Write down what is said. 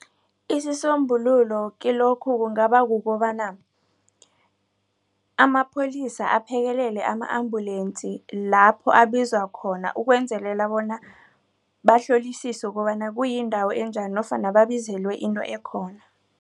Isisombululo kilokhu kungaba kukobana amapholisa aphekelele ama-ambulance lapho abizwa khona ukwenzelela bona bahlolisiswe bona kuyindawo enjani nofana babizelwe into ekhona.